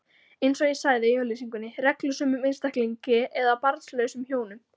eins og sagði í auglýsingunni: reglusömum einstaklingi eða barnlausum hjónum.